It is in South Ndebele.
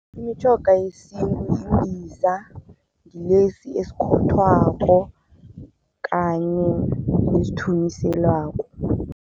Imitjhoga yesintu yimbiza, ngilesi esikhothwakho kanye nesithunyiselwako.